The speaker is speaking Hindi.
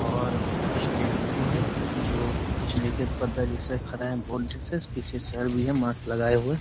और कुछ लेडीज़ भी हैं जो कुछ लेके पर्दा जैसा खड़ा है । बोर्ड जैसा पीछे सर भी है मास्क लगाए हुए ।